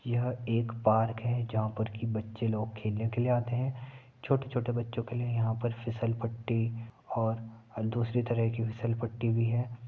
यह एक पार्क है जहा पर की बच्चे लोग खेलने के लिए आते हैं। छोटे-छोटे बच्चो के लिए यहाँ पर फिसलपट्टी और दुसरे तरह की फिसलपट्टी भी है।